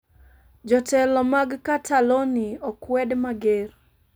Jotelo mag Cataloni okwed mager